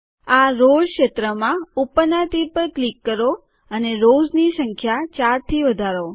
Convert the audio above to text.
આ રોવ્ઝ ક્ષેત્રમાં ઉપરનાં તીર પર ક્લિક કરો અને રોવ્ઝની સંખ્યા ૪ થી વધારો